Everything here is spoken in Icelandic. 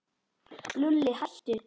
Lúlli, hættu.